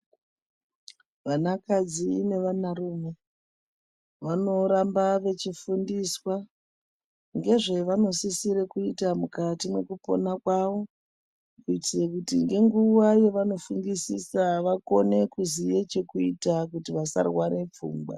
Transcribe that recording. Vana kadzi ne vana rume vanoramba vechi fundiswa ngezvevano sisire kuita mukati mwekupona kwavo kuitire kuti nge nguvaa yavano fungisisa vakone kuziye chekuita kuti vasa rware pfungwa.